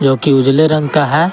जो की उजले रंग का है।